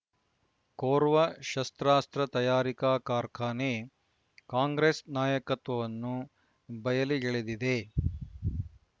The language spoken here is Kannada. ಕೊರ್ವ ಶಸ್ತ್ರಾಸ್ತ್ರ ತಯಾರಿಕಾ ಕಾರ್ಖಾನೆ ಕಾಂಗ್ರೆಸ್ ನಾಯಕತ್ವವನ್ನು ಬಯಲಿ ಗೆಳೆದಿದೆ